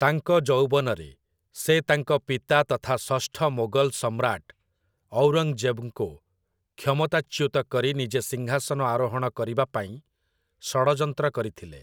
ତାଙ୍କ ଯୌବନରେ, ସେ ତାଙ୍କ ପିତା ତଥା ଷଷ୍ଠ ମୋଗଲ ସମ୍ରାଟ ଔରଙ୍ଗଜେବଙ୍କୁ କ୍ଷମତାଚ୍ୟୁତ କରି ନିଜେ ସିଂହାସନ ଆରୋହଣ କରିବା ପାଇଁ ଷଡ଼ଯନ୍ତ୍ର କରିଥିଲେ ।